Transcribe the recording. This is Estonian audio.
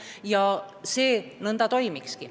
Nõnda see toimikski.